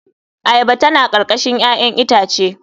Ayaba tana karkashin 'ya'yan itace.